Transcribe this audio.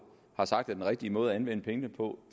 har sagt er den rigtige måde at anvende pengene på